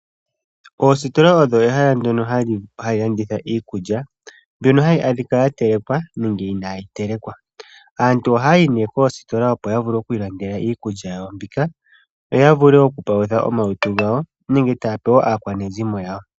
Oositola odho ehala ndyono hali landitha iikulya, mbyono hayi adhika yatelekwa nenge inayi telekwa. Aantu ohaya yi nee koositola opo yavule okwiilandela iikulya yawo mbika, yo yavule oku palutha omalutu gawo nenge taya pe woo aakwanezimo yawo.